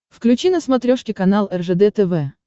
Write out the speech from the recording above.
включи на смотрешке канал ржд тв